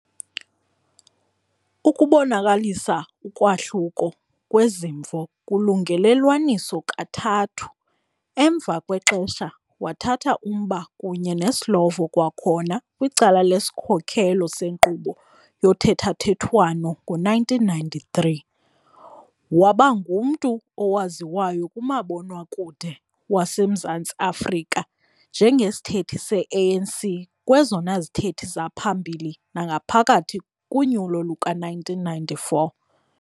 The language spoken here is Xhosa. Ukubonakalisa ukwahluka kwezimvo kulungelelwaniso kathathu. Emva kwexesha wathatha umba kunye neSlovo kwakhona kwicala lesikhokelo senkqubo yothethathethwano ngo-1993. Waba ngumntu owaziwayo kumabonwakude waseMzantsi-Afrika njengesithethi se-ANC kwezona zithethi zaphambili nangaphakathi kunyulo luka-1994.